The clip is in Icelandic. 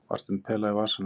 Varstu með pela í vasanum?